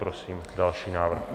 Prosím další návrh.